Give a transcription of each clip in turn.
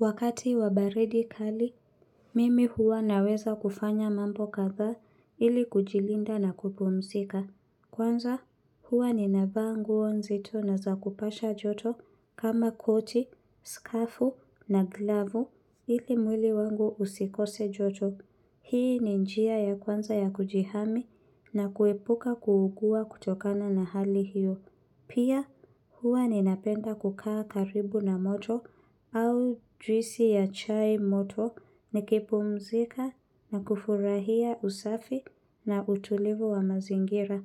Wakati wa baridi kali, mimi huwa naweza kufanya mambo kadhaa ili kujilinda na kupumzika. Kwanza, huwa nina vaa nguo nzito na zakupasha joto kama koti, skafu na glavu ili mwili wangu usikose joto. Hii ni njia ya kwanza ya kujihami na kuepuka kuugua kutokana na hali hiyo. Pia huwa ninapenda kukaa karibu na moto au juisi ya chai moto nikipumzika na kufurahia usafi na utulivu wa mazingira.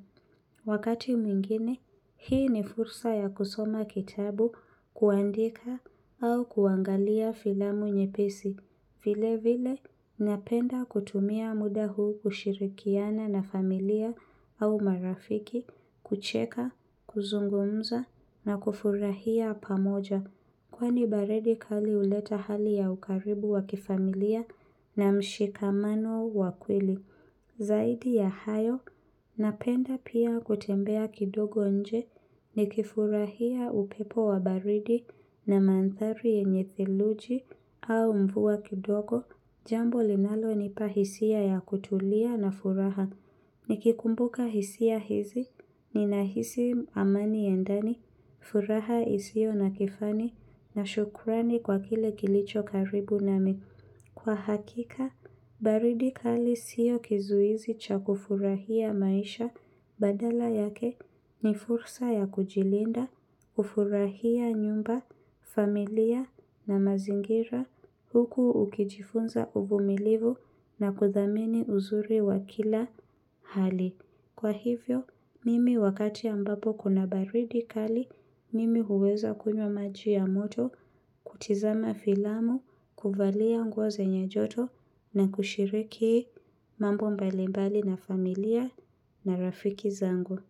Wakati mwingine, hii ni fursa ya kusoma kitabu kuandika au kuangalia filamu nyepesi. Vile vile, napenda kutumia muda huu kushirikiana na familia au marafiki, kucheka, kuzungumza na kufurahia pamoja. Kwani baridi kali huleta hali ya ukaribu wa kifamilia na mshikamano wa kweli. Zaidi ya hayo, napenda pia kutembea kidogo nje, nikifurahia upepo wa baridi na mandhari yenye theluji au mvua kidogo, jambo linalo nipa hisia ya kutulia na furaha. Nikikumbuka hisia hizi, ninahisi amani ya ndani, furaha isio na kifani, na shukurani kwa kile kilicho karibu nami. Kwa hakika, baridi kali sio kizuizi cha kufurahia maisha badala yake ni fursa ya kujilinda, ufurahia nyumba, familia na mazingira huku ukijifunza uvumilivu na kudhamini uzuri wa kila hali. Kwa hivyo, mimi wakati ambapo kuna baridi kali, mimi huweza kunywa maji ya moto kutizama filamu, kuvalia nguo zenye joto na kushiriki mambo mbalimbali na familia na rafiki zangu.